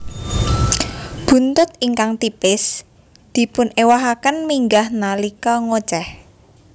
Buntut ingkang tipis dipunéwahaken minggah nalika ngocéh